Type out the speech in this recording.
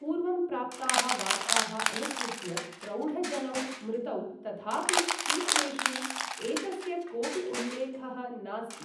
पूर्वं प्राप्ताः वार्ताः अनुसृत्य प्रौढजनौ मृतौ, तथापि सूत्रेषु एतस्य कोपि उल्लेखः नास्ति।